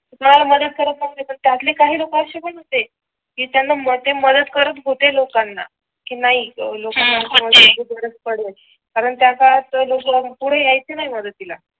तुम्हाला मदत करत नव्हते त्यातले काही लोक असे होते पण की त्यांना मते मदत करत होते लोकांना कि नाही लोकांना मदत ची गरज पडेल कारण त्या काळात पुढे यायचे नाही मदतीला